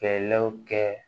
Fɛlɛw kɛ